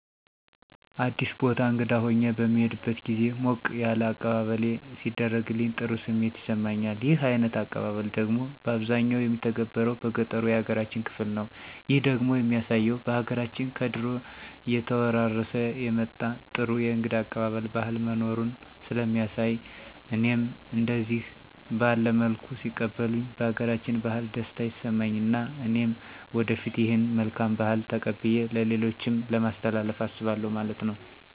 አዲስ ቦታ እንግዳ ሁኘ በምሄድበት ግዜ ሞቅ ያለ አቀባበለሌ ሲደረግልኝ ጥሩ ስሜት ይሰማኛል። ይህ አይነት አቀባበል ደግሞ ባብዛኛው የሚተገበረው በገጠሩ ያገራችን ክፍል ነው። ይህ ደግሞ የሚያሳየው በሀገራችን ከድሮ እየተወራረሠ የመጣ ጥሩ የእንግዳ አቀባበል ባህል መኖሩን ሥለሚያሣይ እኔም እደዚህ ባለ መልኩ ሲቀበሉኝ ባገራችን ባህል ደስታ ይሠማኝ እና እኔም ወደፊት ይህን መልካም ባህል ተቀብየ ለሌሎችም ለማሥተላለፍ አስባለሁ ማለት ነው።